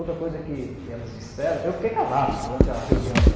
Outra coisa que elas disseram, eu fiquei calado durante a reunião.